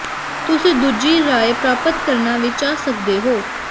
ਤੁਸੀਂ ਦੂਜੀ ਰਾਏ ਪ੍ਰਾਪਤ ਕਰਨਾ ਵੀ ਚਾਹ ਸਕਦੇ ਹੋ